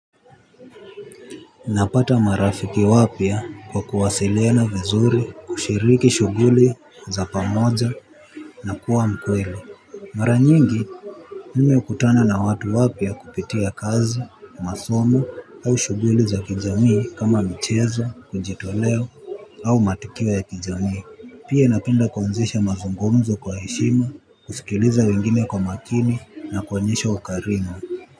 Napata marafiki wapya kwa kuwasiliana vizuri, kushiriki shuguli za pamoja na kuwa mkweli. Maranyingi, mimi ukutana na watu wapya kupitia kazi, masomo au shuguli za kijamii kama michezo, kujitoleo au matukio ya kijamii. Pia napenda kuanzisha mazungumzo kwa heshima, kusikiliza wengine kwa makini na kuonyesha ukarimu.